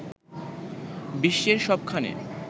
বিশ্বের সবখানে